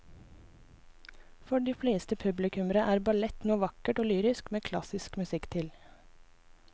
For de fleste publikummere er ballett noe vakkert og lyrisk med klassisk musikk til.